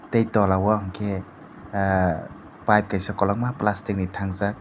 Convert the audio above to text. tei tola o hwnkhe pipe kaisa kolokma plasticni thangjak.